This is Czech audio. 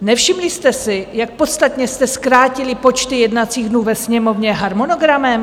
Nevšimli jste si, jak podstatně jste zkrátili počty jednacích dnů ve Sněmovně harmonogramem?